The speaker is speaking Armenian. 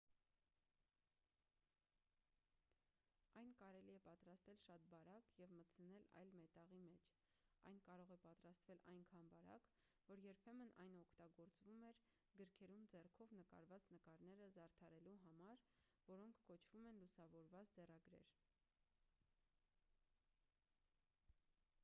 այն կարելի է պատրաստել շատ բարակ և մտցնել այլ մետաղի մեջ այն կարող է պատրաստվել այնքան բարակ որ երբեմն այն օգտագործվում էր գրքերում ձեռքով նկարված նկարները զարդարելու համար որոնք կոչվում են լուսավորված ձեռագրեր